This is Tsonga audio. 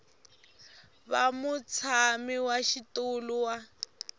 va mutshami wa xitulu wa